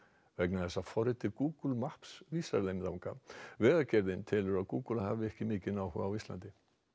vegna þess að forritið Google Maps vísar þeim þangað vegagerðin telur að Google hafi ekki hafa mikinn áhuga á Íslandi